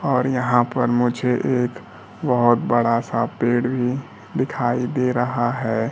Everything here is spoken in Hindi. और यहां पर मुझे एक बहोत बड़ा सा पेड़ भी दिखाई दे रहा है।